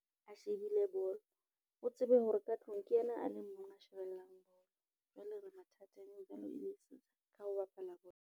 A shebile bolo, o tsebe hore ka tlung ke yena a le mong a shebellang bolo. Jwale re mathateng ha o bapala bolo.